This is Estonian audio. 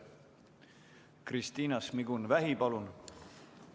Kristina Šmigun-Vähi, palun!